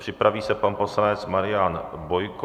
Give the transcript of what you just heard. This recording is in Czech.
Připraví se pan poslanec Marian Bojko.